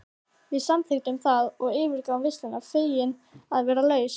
Við samþykktum það og yfirgáfum veisluna fegin að vera laus.